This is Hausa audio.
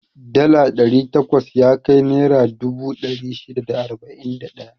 Dala ɗari takwas yakai naira dubu ɗari shida da arba'in da ɗaya.